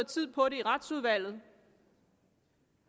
tid på det i retsudvalget